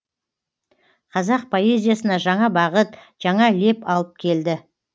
қазақ поэзиясына жаңа бағыт жаңа леп алып келді